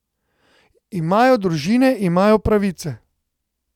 Imajo družine, imajo pravice.